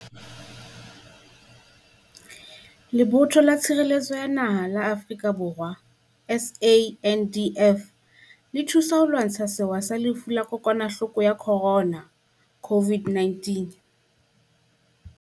Lebotho la Tshireletso ya Naha la Afrika Borwa SANDF e thusa ho lwantsha sewa sa Lefu la Kokwa nahloko ya Corona COVID-19.